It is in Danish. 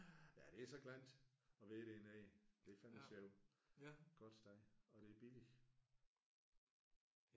Ja det er så klant at være dernede. Det er fandeme sjovt. Godt sted og det er billigt